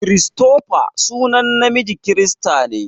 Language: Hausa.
Christopher sunan namiji kirista ne.